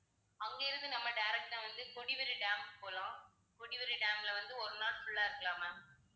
அங்க இருந்து நம்ம direct ஆ வந்து கொடிவேரி dam போலாம். கொடிவேரி dam ல வந்து ஒரு நாள் full ஆ இருக்கலாம் ma'am